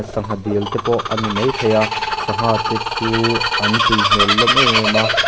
sangha dil te pawh a ni maithei a sangha te chu an tui hmel hlawm em em a.